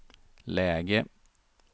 läge